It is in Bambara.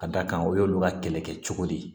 Ka d'a kan o y'olu ka kɛlɛkɛ cogo de ye